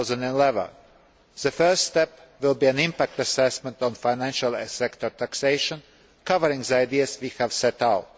in 2011. The first step will be an impact assessment on financial sector taxation covering the ideas we have set out.